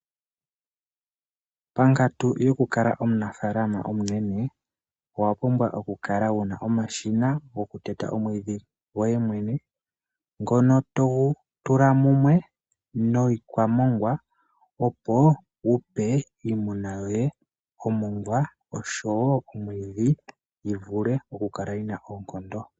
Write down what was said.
Pakantu yoku kala omunafaalama omunene owa pumbwa oku kala wuna omashina omanene goku teta omwiidhi goye mwene ngono togu tula mumwe niikwamongwa opo wupe iimuna yoye omongwa oshowo mwiidhi yivule okukala yina ookondo.